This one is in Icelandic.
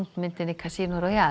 myndinni Casino Royale